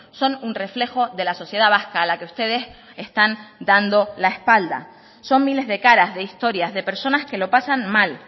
son un reflejo de la sociedad vasca a la que ustedes están dando la espalda son miles de caras de historias de personas que lo pasan mal